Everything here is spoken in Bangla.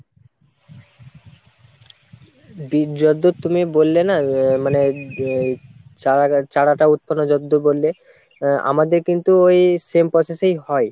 বীজ যতদূর তুমি বললে না মানে চারা~ চারাটা উৎপন্ন যতদূর বললে আমাদের কিন্তু ওই same process এই হয়।